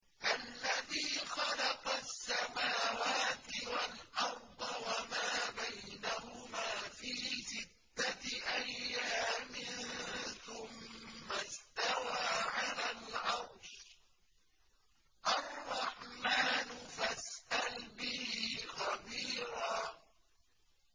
الَّذِي خَلَقَ السَّمَاوَاتِ وَالْأَرْضَ وَمَا بَيْنَهُمَا فِي سِتَّةِ أَيَّامٍ ثُمَّ اسْتَوَىٰ عَلَى الْعَرْشِ ۚ الرَّحْمَٰنُ فَاسْأَلْ بِهِ خَبِيرًا